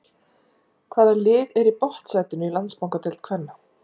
Hvaða lið er í botnsætinu í Landsbankadeild kvenna?